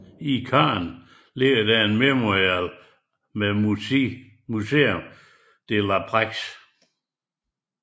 I Caen ligger der Mémorial med Musée de la paix